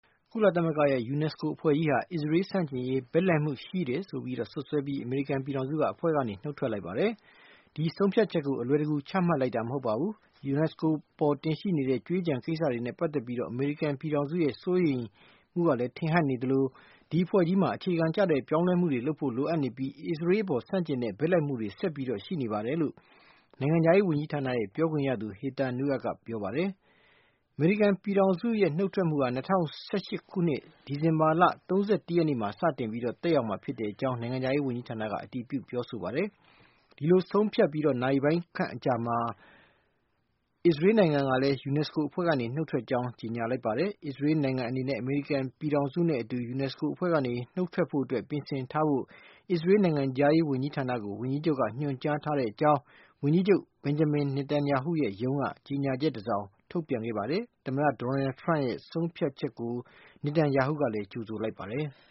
ကုလသမဂ္ဂရဲ့ UNESCO အဖွဲ့ကြီးဟာ အစ္စရေးဆန့်ကျင်ရေး ဘက်လိုက်မှုရှိတယ်ဆိုတဲ့ စွပ်စွဲချက်နဲ့ အမေရိကန်ပြည်ထောင်စုက နုတ်ထွက်လိုက်ပါတယ်။ "ဒီဆုံးဖြတ်ချက်ကို အလွယ်တကူ ချမှတ်လိုက်တာမဟုတ်ပါဘူး။ UNESCO အပေါ်တင်ရှိနေတဲ့ ကြွေးကျန်ကိစ္စတွေနဲ့ပတ်သက်ပြီး အမေရိကန်ရဲ့ စိုးရိမ်ချက်ကလည်း ထင်ဟပ်နေသလို ဒီအဖွဲ့ကြီးမှာ အခြေခံကျတဲ့ ပြောင်းလဲမှုတွေ ပြုလုပ်ဖို့လိုအပ်နေပြီး အစ္စရေးအပေါ် ဆန့်ကျင်တဲ့ ဘက်လိုက်မှုတွေဆက်ပြီးရှိနေပါတယ်"လို့ နိုင်ငံခြားရေးဝန်ကြီးဌာနရဲ့ ပြောခွင့်ရသူ ဟေသာနူးအတ် ကပြောပါတယ်။ အမေရိကန်ပြည်ထောင်စုရဲ့ နုတ်ထွက်မှုဟာ ၂၀၁၈ ခုနှစ် ဒီဇင်ဘာလ ၃၁ ရက်နေ့မှာ စတင်သက်ရောက်မှာဖြစ်ကြောင်း နိုင်ငံခြားရေးဝန်ကြီးဌာနက တည်ပြုပြောဆိုပါတယ်။ ဒီလိုဆုံးဖြတ်ပြီး နာရီပိုင်းခန့်အကြာမှာ အစ္စရေးနိုင်ငံကလည်း UNESCO အဖွဲ့ကနေ နုတ်ထွက်ကြောင်း ကြေညာလိုက်ပါတယ်။ အစ္စရေးနိုင်ငံအနေနဲ့ အမေရိကန်ပြည်ထောင်စုနဲ့ အတူ UNESCO အဖွဲ့ကနေ နုတ်ထွက်ဖို့အတွက် ပြင်ဆင်ထားဖို့ အစ္စရေးနိုင်ငံခြားရေး ဝန်ကြီးဌာနကို ဝန်ကြီးချုပ်ကညွှန်ကြားထားကြောင်း ဝန်ကြီးချုပ် Benjamin Netanyahu ရဲ့ရုံးက ကြေညာချက်တစောင်ထုတ်ပြန်ခဲ့ပါတယ်။ သမ္မတဒေါ်နယ်ထရမ့်ရဲ့ နုတ်ထွက်ဖို့ ဆုံးဖြတ်ချက်ကို Netanyahu ကြိုဆိုလိုက်ပါတယ်။